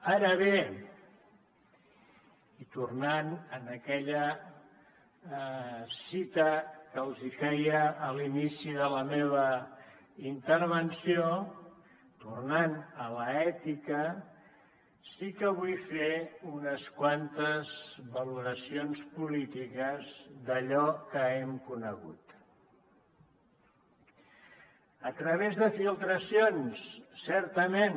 ara bé i tornant a aquella citació que els feia a l’inici de la meva intervenció tornant a l’ètica sí que vull fer unes quantes valoracions polítiques d’allò que hem conegut a través de filtracions certament